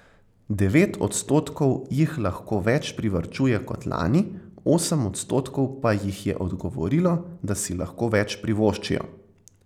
Devet odstotkov jih lahko več privarčuje kot lani, osem odstotkov pa jih je odgovorilo, da si lahko več privoščijo.